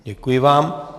Děkuji vám.